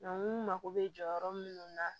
n mako bɛ jɔyɔrɔ minnu na